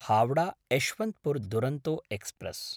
Howrah-Yesvantpur Duronto express